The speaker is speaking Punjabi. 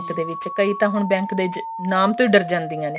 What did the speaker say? bank ਦੇ ਵਿੱਚ ਕਈ ਤਾਂ ਹੁਣ bank ਦੇ ਵਿੱਚ ਨਾਮ ਤੋਂ ਹੀ ਡਰ ਜਾਂਦੀਆਂ ਨੇ